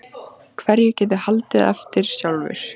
Hverju get ég haldið eftir sjálfur?